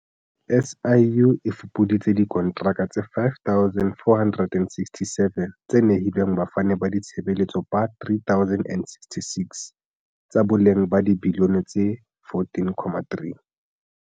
SIU e fupuditse dikontraka tse 5 467 tse nehilweng bafani ba ditshebeletso ba 3 066, tsa boleng ba dibiliyone tse R14.3.